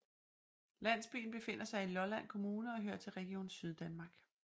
Landsbyen befinder sig i Lolland Kommune og hører til Region Syddanmark